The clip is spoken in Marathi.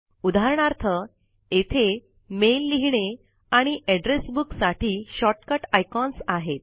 उदाहरणार्थ येथे मेल लिहिणे आणि एड्रेस बुक साठी शॉर्टकट आयकॉन्स आहेत